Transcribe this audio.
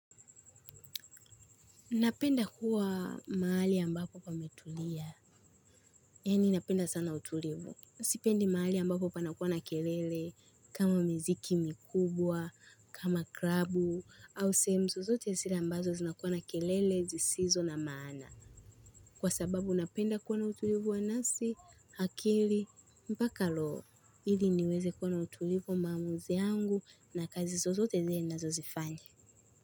Napenda kuwa mahali ambapo pametulia, yani napenda sana utulivu. Sipendi mahali ambapo panakuwa na kelele, kama miziki mikubwa, kama krabu, au sehemu zozote zile ambazo zinakuwa na kelele, zisizo na maana. Kwa sababu napenda kuwa na utulivu wa nafsi, akili, mpaka roho. Ili niweze kuwa na utulivu maamuzi yangu na kazi zozote zile nazozifanya.